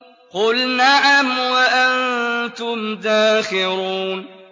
قُلْ نَعَمْ وَأَنتُمْ دَاخِرُونَ